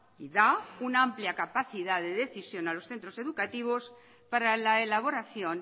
y da una amplia capacidad de decisión a los centros educativos para la elaboración